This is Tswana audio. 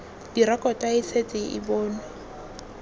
direkoto e setse e bonwe